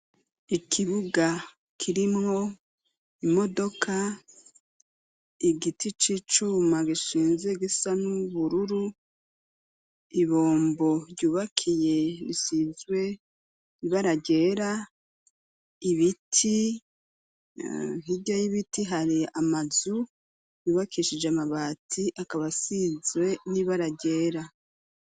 Ikibuga kirimwo imodoka igiti c'icuma gishinze gisa n'ubururu ibombo ryubakiye rishizwe ribaragyera ibiti ntirya y'ibiti hari amazue bubakishije amabati akabasizwe n'ibearagera.